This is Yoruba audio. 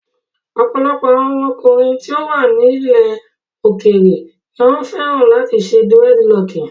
Ọ̀pọ̀lọpọ̀ àwọn ọkùnrin tí ó wà ní ilẹ̀ òkèèrè ni wọ́n fẹ́ràn láti ṣe dírẹ́dilọọkì.